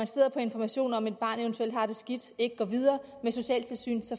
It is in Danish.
sidder på informationer om at et barn eventuelt har det skidt ikke går videre med med socialtilsynet